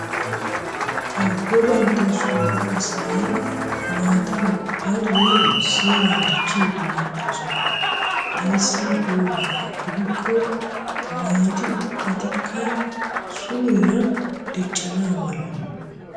Abebenttasoo asay naata ubbatoo seeran diichchiidi beettoosona. Ayssi giyoo mala gidikko naati ubbatikka suurera diiccana mala.